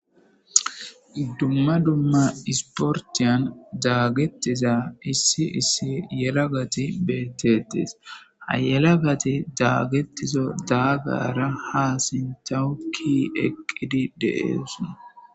Dumma dumma isportiyan daagetiza issi issi yelagati beettettes hayelagati daagetizo daagara haa sintawukki eqqidi deeesun.